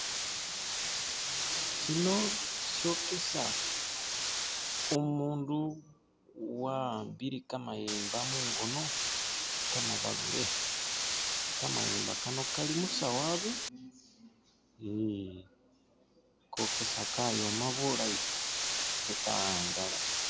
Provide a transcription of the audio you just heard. Shino shokesa umundu wa'ambile kamayemba mung'ono kamabalule! kamayembaa kano kali musawu abe hehehe kokesa kayoma bulayi ate ka'angala.